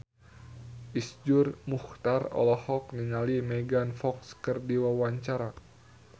Iszur Muchtar olohok ningali Megan Fox keur diwawancara